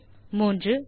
மூன்றாவதான கடைசி